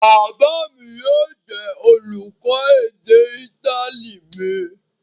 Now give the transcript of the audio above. Bàbá mi yóò jẹ́ olùkọ́ èdè Ítálì mi.